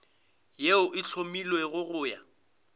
yeo e hlomilwego go ya